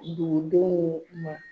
Dugu denw ma